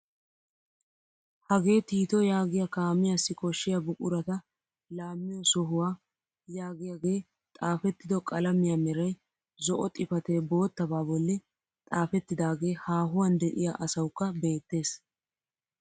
Hagee tiito yaagiyaa kaamiyaassi koshshiyaa buqurata laamiyoo sohuwaa yaagiyaage xaafettido qalamiyaa meray zo'o xifatee boottabaa bolli xaafettidagee haahuwaan de'iyaa asawukka beettees.